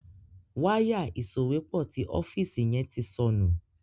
Wáyà ìsòwépọ̀ tí ọ́fíìsì yen tí sọnù.